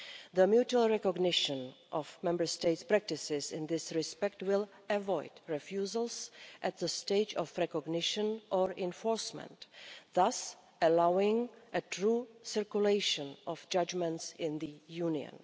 The mutual recognition of Member States' practices in this respect will avoid refusals at the stage of recognition or enforcement, thus allowing a true circulation of judgments in the Union.